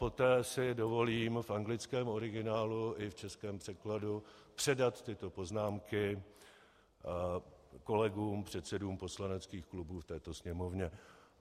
Poté si dovolím v anglickém originálu i v českém překladu předat tyto poznámky kolegům předsedům poslaneckých klubů v této Sněmovně.